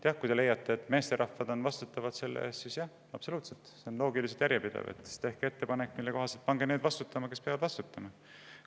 Kui te leiate, et meesterahvad on vastutavad selle eest – jah, absoluutselt, see on loogiliselt järjepidev –, siis tehke ettepanek ja pange vastutama need, kes selle eest vastutama peavad.